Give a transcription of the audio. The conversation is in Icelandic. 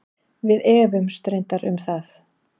Við efumst reyndar um það.